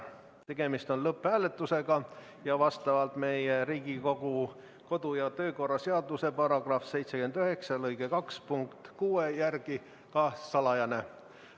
Tegemist on lõpphääletusega ning vastavalt meie Riigikogu kodu- ja töökorra seaduse § 79 lõike 2 punktile 6 on see salajane.